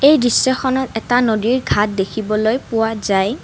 এই দৃশ্যখনত এটা নদীৰ ঘাট দেখিবলৈ পোৱা যায়।